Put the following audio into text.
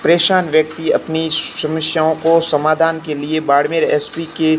परेशान व्यक्ति अपनी समस्याओं को समाधान के लिए बाड़मेर एस_पी के--